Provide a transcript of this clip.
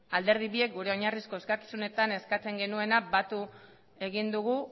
alderdi biek gure oinarrizko eskakizunetan eskatzen genuena batu egin dugu